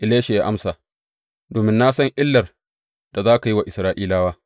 Elisha ya amsa, Domin na san illar da za ka yi wa Isra’ilawa.